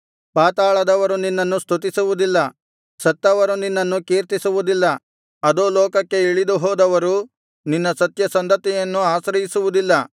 ಪಾತಾಳದವರು ನಿನ್ನನ್ನು ಸ್ತುತಿಸುವುದಿಲ್ಲ ಸತ್ತವರು ನಿನ್ನನ್ನು ಕೀರ್ತಿಸುವುದಿಲ್ಲ ಅಧೋಲೋಕಕ್ಕೆ ಇಳಿದುಹೋದವರು ನಿನ್ನ ಸತ್ಯ ಸಂಧತೆಯನ್ನು ಆಶ್ರಯಿಸುವುದಿಲ್ಲ